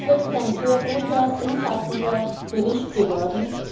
Es ist wirklich ein sehr guter und umfassender Bericht geworden.